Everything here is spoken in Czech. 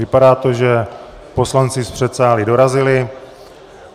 Vypadá to, že poslanci z předsálí dorazili.